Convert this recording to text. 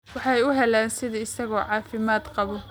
Waxay u heleen sidii isagoo caafimaad qaba